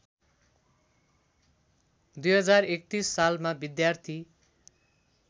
२०३१ सालमा विद्यार्थी